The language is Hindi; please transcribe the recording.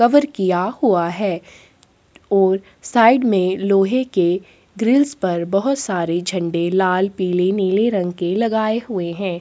सबर किया हुआ है और साइड में लोहै के ग्रिल्स पर बहुत सारे झंडे लाल पीले नीले रंग के लगाए हुए हैं।